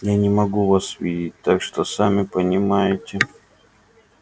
я не могу вас видеть так что сами понимаете